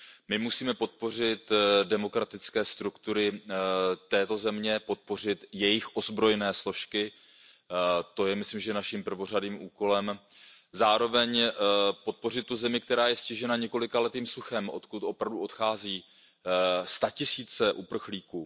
My musíme podpořit demokratické struktury této země, podpořit jejich ozbrojené složky, to je, myslím si, naším prvořadým úkolem, zároveň podpořit tu zemi, která je stižena několikaletým suchem, odkud opravdu odcházejí statisíce uprchlíků.